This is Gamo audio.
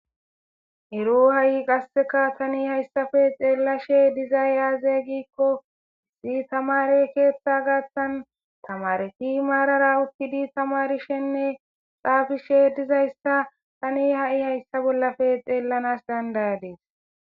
ero ha7i qasseka tani hayssafe xeellashe dizay aazegikko issi tamare keeththa gaattan tamareti maarara uttidi tamarishenne xaafishe dizayssa tani ha7i hayssa bollafe xeellanas dandayadees